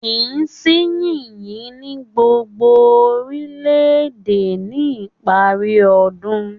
Kìí sì yìnyín ní gbogbo orílẹ̀-èdè ní ìparí ọdún.